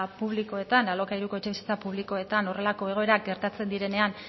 publikoetan alokairuko etxebizitza publikoetan horrelako egoerak gertatzen direnean